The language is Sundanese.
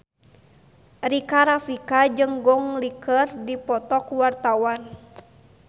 Rika Rafika jeung Gong Li keur dipoto ku wartawan